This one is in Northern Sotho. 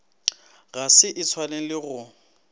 ga se e swanele go